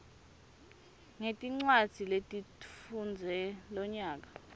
ngetincwadzi lotifundze lonyaka